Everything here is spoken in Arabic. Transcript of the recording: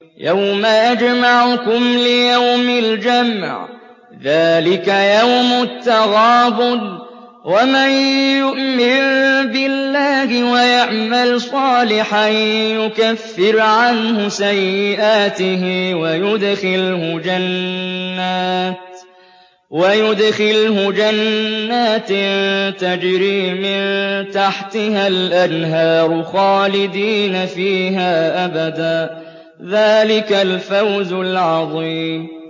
يَوْمَ يَجْمَعُكُمْ لِيَوْمِ الْجَمْعِ ۖ ذَٰلِكَ يَوْمُ التَّغَابُنِ ۗ وَمَن يُؤْمِن بِاللَّهِ وَيَعْمَلْ صَالِحًا يُكَفِّرْ عَنْهُ سَيِّئَاتِهِ وَيُدْخِلْهُ جَنَّاتٍ تَجْرِي مِن تَحْتِهَا الْأَنْهَارُ خَالِدِينَ فِيهَا أَبَدًا ۚ ذَٰلِكَ الْفَوْزُ الْعَظِيمُ